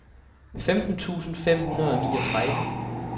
femten tusind fem hundrede og niogtredive